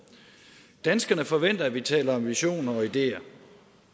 danskerne forventer at vi taler om visioner og ideer